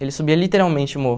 Ele subia literalmente o morro.